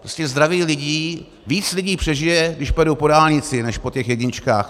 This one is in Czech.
Zdraví lidí, víc lidí přežije, když pojedou po dálnici než po těch jedničkách.